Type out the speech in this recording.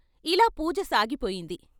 ఇలా పూజ సాగిపోయింది.